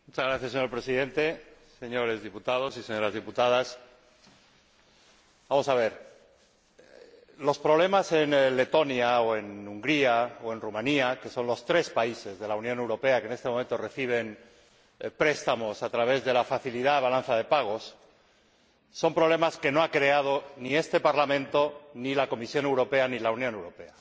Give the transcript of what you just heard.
Señor Presidente, señores diputados y señoras diputadas, los problemas en Letonia o en Hungría o en Rumanía, que son los tres países de la Unión Europea que en este momento reciben préstamos a través de la facilidad de la balanza de pagos, son problemas que no ha creado ni este Parlamento, ni la Comisión Europea, ni la Unión Europea